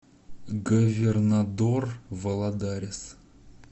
говернадор валадарис